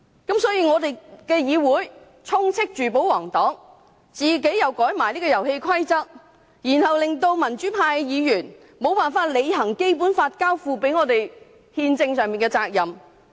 故此，議會充斥着保皇黨，"遊戲規則"亦被修改了，民主派議員便無法履行《基本法》交託我們的憲政責任。